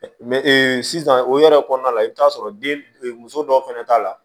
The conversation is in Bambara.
ee sisan o yɛrɛ kɔnɔna la i bi t'a sɔrɔ den muso dɔw fɛnɛ t'a la